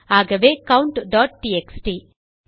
ஆகவே countடிஎக்ஸ்டி